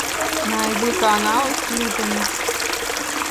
найди каналы с клипами